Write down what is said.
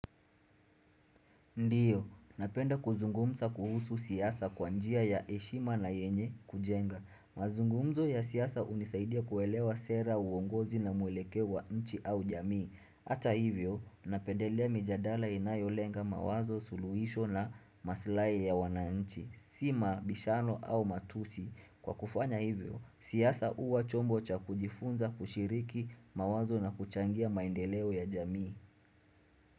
Ndiyo, napenda kuzungumza kuhusu siasa kwa njia ya heshima na yenye kujenga. Mazungumzo ya siasa hunisaidia kuelewa sera uongozi na mwelekeo wa nchi au jamii. Hata hivyo, napendelea mijadala inayolenga mawazo, suluhisho na maslahi ya wananchi. Si mabishano au matusi. Kwa kufanya hivyo, siasa huwa chombo cha kujifunza kushiriki mawazo na kuchangia maendeleo ya jamii.